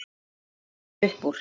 Það stendur upp úr.